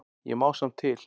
Ég má samt til.